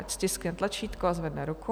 Ať stiskne tlačítko a zvedne ruku.